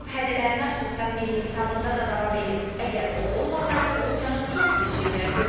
Tramp hədələrinə sosial media hesabında da davam edib, əgər o olmasaydı, Rusiyanı çox pis şeylər gözləyirdi.